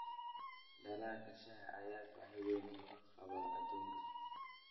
Dalagga shaaha ayaa baahi weyn looga qabaa adduunka.